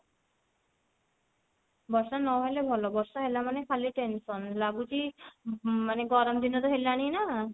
ବର୍ଷା ନହେଲେ ଭଲ ବର୍ଷା ହେଲା ମାନେ ଖାଲି tension ଲାଗୁଛି ମ ଗରମ ଦିନ ହେଲାଣି ନା